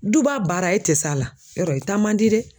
Duba baara e tɛ s'a la yɔrɔ i taa man di dɛ.